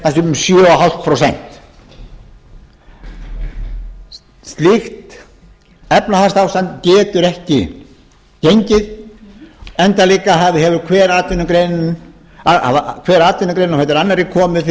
sé um sjö og hálft prósent slíkt efnahagsástand getur ekki gengið enda líka hefur hver atvinnugreinin á fætur annarri komið fyrir